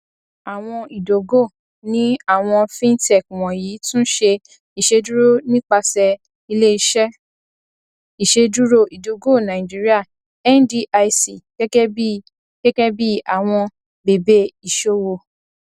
àwọn ìdógò ní àwọn fintech wọnyí tún ní ìṣedúró nípasẹ iléiṣẹ ìṣedúró ìdógò nigeria ndic gẹgẹ bí gẹgẹ bí àwọn bèbè iṣòwò